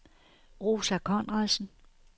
Rosa Conradsen